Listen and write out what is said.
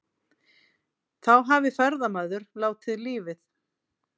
Þá hafi ferðamaður látið lífið